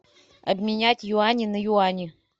обменять юани на юани